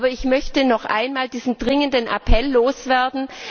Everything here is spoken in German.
Aber ich möchte noch einmal diesen dringenden Appell loswerden.